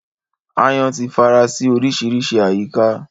Aáyán ti fara sí oríṣiríṣi àyíká